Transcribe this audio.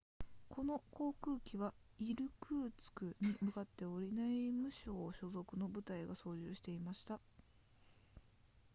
この航空機はイルクーツクに向かっており内務省所属の部隊が操縦していました